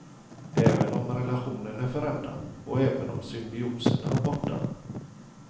Även om relationen är förändrad, och även om symbiosen är borta.